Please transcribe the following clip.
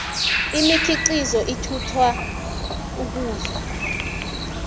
imikhiqizo ithuthwa ukudlula